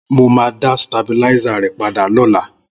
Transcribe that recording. Mó mà dà stábilàisá rẹ pàdá lọ̀lá